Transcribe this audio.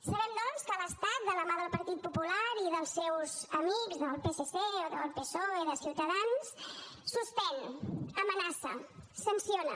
sabem doncs que l’estat de la mà del partit popular i dels seus amics del psc o del psoe de ciutadans suspèn amenaça sanciona